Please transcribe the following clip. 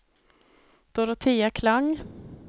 Dorotea Klang